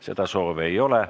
Seda soovi ei ole.